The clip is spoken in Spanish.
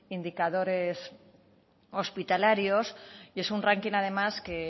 indicadores hospitalarios y es un ranking además que